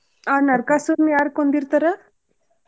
ಆ ನರಕಾಸುರನ್ ಯಾರ್ ಕೊಂದಿರ್ತಾರ್?